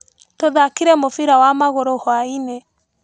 Tũthakire mũbira wa magũrũ hwainĩ.